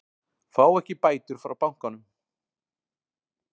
Fá ekki bætur frá bankanum